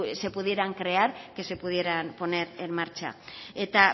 se pudieran crear que se pudieran poner en marcha eta